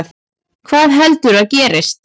Hvað heldurðu að gerist?